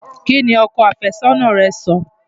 Kí ni ọkọ àfẹ́sọ́nà rẹ́ sọ?